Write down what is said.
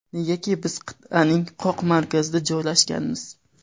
Negaki biz qit’aning qoq markazida joylashganmiz.